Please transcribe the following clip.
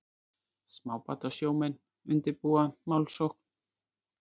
Smábátasjómenn undirbúa málsókn